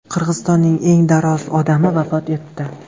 Qirg‘izistonning eng daroz odami vafot etdi.